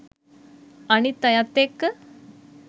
අනිත් අයත් එක්ක